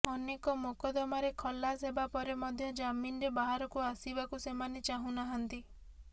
ଅନେକ ମୋକଦ୍ଦମାରେ ଖଲାସ ହେବା ପରେ ମଧ୍ୟ ଜାମିନରେ ବାହାରକୁ ଆସିବାକୁ ସେମାନେ ଚାହୁଁ ନାହାନ୍ତି